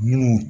Minnu